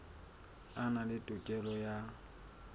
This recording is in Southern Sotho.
a na le tokelo ya